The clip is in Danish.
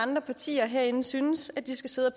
andre partier herinde synes at de skal sidde og